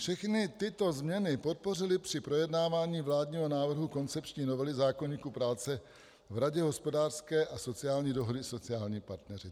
Všechny tyto změny podpořili při projednávání vládního návrhu koncepční novely zákoníku práce v Radě hospodářské a sociální dohody sociální partneři.